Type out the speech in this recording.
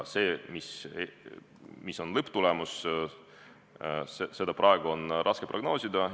Seda, mis on lõpptulemus, on praegu raske prognoosida.